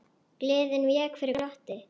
Gleðin vék fyrir glotti.